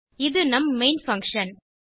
இது நம் main function